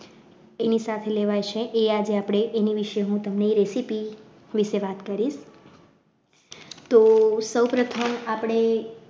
એની સાથે લેવાય છે એ એની વિશે હું recipe વિશે વાત કરીશતો સૌ પ્રથમ આપણે